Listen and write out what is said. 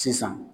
Sisan